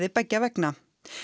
beggja vegna